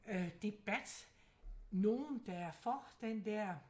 Øh debat nogen der er for den dér